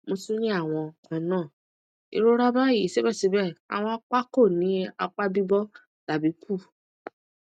mo tun ni awọn kanna irora bayi sibẹsibẹ awọn apa ko ni apa bibo tabi pu